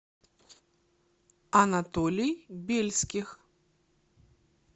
анатолий бельских